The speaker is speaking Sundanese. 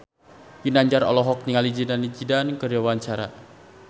Ginanjar olohok ningali Zidane Zidane keur diwawancara